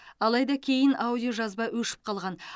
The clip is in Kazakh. алайда кейін аудиожазба өшіп қалған